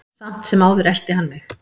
Samt sem áður elti hann mig.